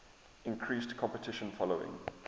increased competition following